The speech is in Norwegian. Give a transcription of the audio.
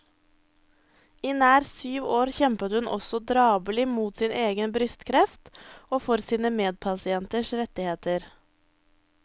I nær syv år kjempet hun også drabelig mot sin egen brystkreft og for sine medpasienters rettigheter.